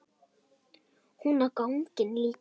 Hún á ganginn líka.